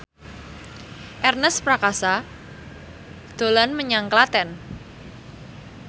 Ernest Prakasa dolan menyang Klaten